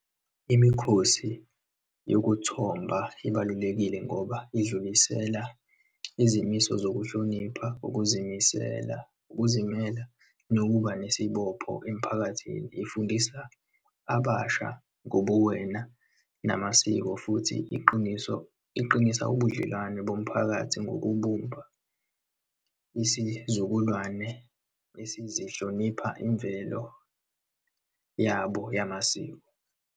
Imikhosi yokuthomba ibalulekile ngoba idlulisela izimiso zokuhlonipha, ukuzimisela, ukuzimela, nokuba nesibopho emiphakathini. Ifundisa abasha ngobuwena namasiko. Futhi iqiniso, iqinisa ubudlelwano bomphakathi ngokubumba isizukulwane esizihlonipha imvelo yabo yamasiko.